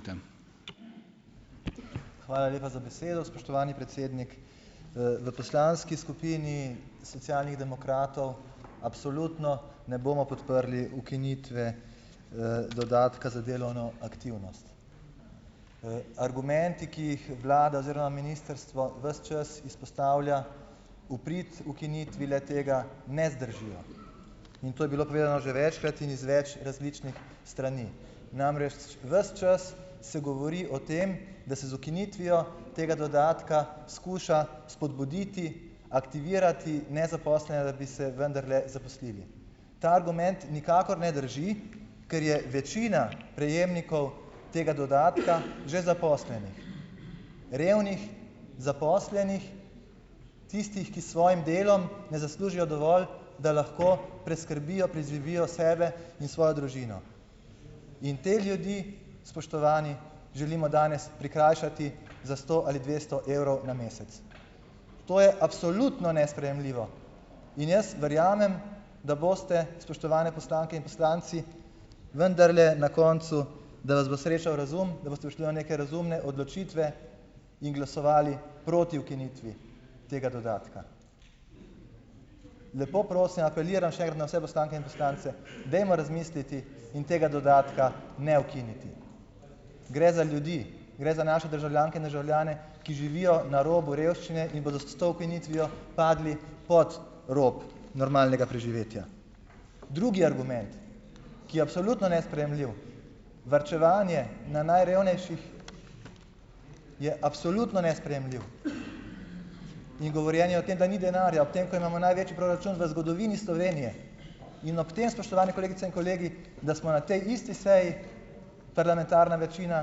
Hvala lepa za besedo, spoštovani predsednik. V poslanski skupini Socialnih demokratov absolutno ne bomo podprli ukinitve, dodatka za delovno aktivnost. Argumenti, ki jih vlada oziroma ministrstvo ves čas izpostavlja v prid ukinitvi le-tega ne zdržijo. In to je bilo povedano že večkrat in iz več različnih strani. Namreč, ves čas se govori o tem, da se z ukinitvijo tega dodatka skuša spodbuditi, aktivirati nezaposlene, da bi se vendarle zaposlili. Ta argument nikakor ne drži, kar je večina prejemnikov tega dodatka že zaposlenih. Revnih zaposlenih, tistih, ki s svojim delom ne zaslužijo dovolj, da lahko preskrbijo, preživijo sebe in svojo družino. In te ljudi, spoštovani, želimo danes prikrajšati za sto ali dvesto evrov na mesec. To je absolutno nesprejemljivo. In jaz verjamem, da boste, spoštovane poslanke in poslanci, vendarle na koncu, da vas bo srečal razum, da boste prišli do neke razumne odločitve in glasovali proti ukinitvi tega dodatka. Lepo prosim, apeliram še enkrat na vse poslanke in poslance, dajmo razmisliti in tega dodatka ne ukiniti. Gre za ljudi. Gre za naše državljanke in državljane, ki živijo na robu revščine in bodo s s to ukinitvijo padli pod rob normalnega preživetja. Drugi argument, ki je absolutno nesprejemljiv, varčevanje na najrevnejših, je absolutno nesprejemljiv. In govorjenje o tem, da ni denarja, ob tem, ko imamo največji proračun v zgodovini Slovenije. In ob tem, spoštovani kolegice in kolegi, da smo na tej isti seji parlamentarna večina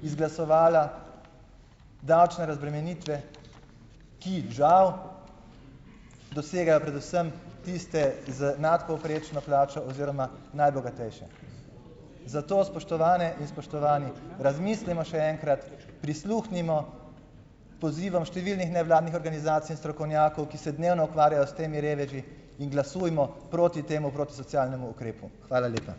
izglasovala davčne razbremenitve, ki, žal, dosegajo predvsem tiste z nadpovprečno plačo oziroma najbogatejše. Zato, spoštovane in spoštovani, razmislimo še enkrat, prisluhnimo pozivom številnih nevladnih organizacij in strokovnjakov, ki se dnevno ukvarjajo s temi reveži in glasujmo proti temu protisocialnemu ukrepu. Hvala lepa.